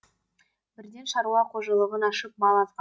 бірден шаруа қожылығын ашып мал алған